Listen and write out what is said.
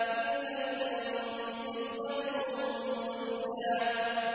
تِلْكَ إِذًا قِسْمَةٌ ضِيزَىٰ